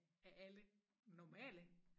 Er alle normale